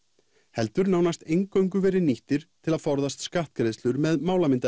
heldur nánast eingöngu verið nýttir til að forðast skattgreiðslur með